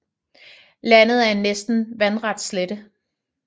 Landet er en næsten vandret slette